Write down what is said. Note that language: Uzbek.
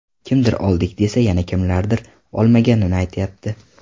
Kimdir oldik, desa yana kimlardir olmaganini aytyapti.